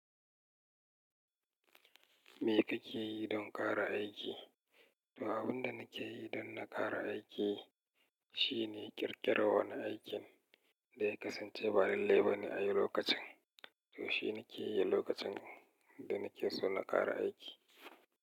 Me kake yi don ƙara aiki? Toh, abin da nake yi don na ƙara aiki, shine ƙirƙira wani aikin da ya kasance ba lai lai bane a yi lokacin. Toh shi nake yi lokacin, da nake so na ƙara aiki.